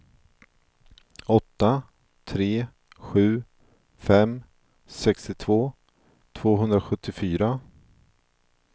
åtta tre sju fem sextiotvå tvåhundrasjuttiofyra